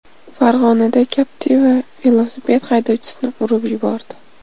Farg‘onada Captiva velosiped haydovchisini urib yubordi.